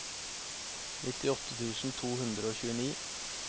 nittiåtte tusen to hundre og tjueni